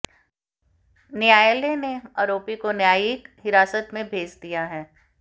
न्यायालय ने आरोपी को न्यायिक हिरासत में भेेज दिया है